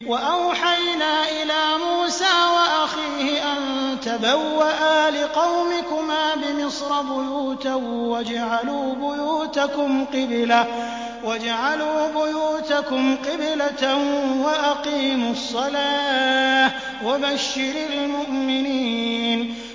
وَأَوْحَيْنَا إِلَىٰ مُوسَىٰ وَأَخِيهِ أَن تَبَوَّآ لِقَوْمِكُمَا بِمِصْرَ بُيُوتًا وَاجْعَلُوا بُيُوتَكُمْ قِبْلَةً وَأَقِيمُوا الصَّلَاةَ ۗ وَبَشِّرِ الْمُؤْمِنِينَ